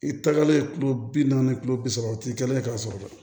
I tagalen yen kulo bi naani kulo bi saba u ti kɛ k'a sɔrɔ